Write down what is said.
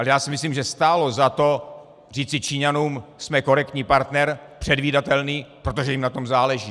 Ale já si myslím, že stálo za to říci Číňanům - jsme korektní partner, předvídatelný, protože jim na tom záleží.